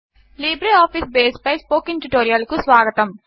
LibreOffice బేస్పై spoken ట్యుటోరియల్కు స్వాగతం